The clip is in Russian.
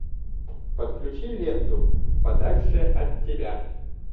подключи ленту подальше от тебя